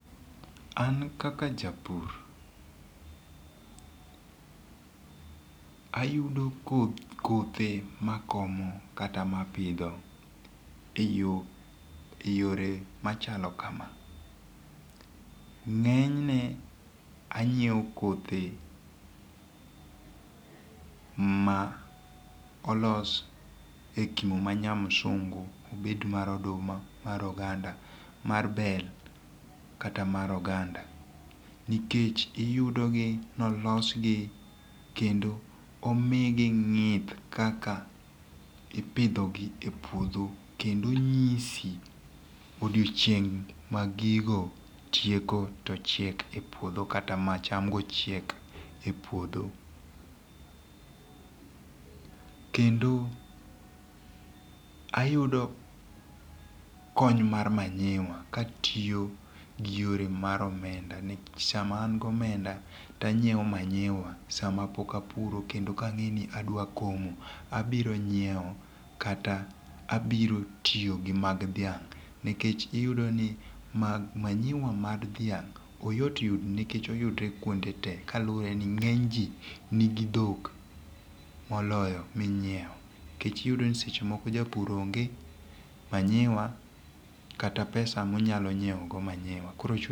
An kaka ja pur ayudo kothe ma akomo kata ma apidho e yore ,machalo kama ng'enyne anyiewo kothe ma olos e kimo ma nya msungu obet mar oduma, mar oganda mar bell kata mar oganda nikech iyudogi ni olosgi kendo omigi ng'ith kaka ipidhogi e puodho kendo onyisi odiochieng' mag gigo tieko to chiek e puodho kata ma chamgo chiek e puodho, kendo ayudo kony mar manyiwa katiyo gi yore omenda nikech sama an gi omenda to anyiewo manyiwa to sama poka puro kendo ka angeni adwa komo abiro nyiewo kata abiro tiyo gi mag thiang' nikech iyudo ni manyiwa mag dhiang' oyot yudo nikech nikech oyudore kwonde tee kaluwore ni ng'eny jii nigi thok moloyo minyiwo nikech iyudo ni sechemoko japur onge manyiwa kata pesa monyalo nyiwogo manyiwa.